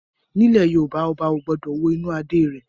Ní ilẹ̀ Yorùbá, Ọba ò gbọ́dọ̀ wo inú Adé rẹ̀